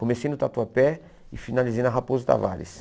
Comecei no Tatuapé e finalizei na Raposo Tavares.